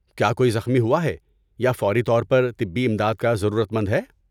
کیا کوئی زخمی ہوا ہے یا فوری طور پر طبی امداد کا ضرورت مند ہے؟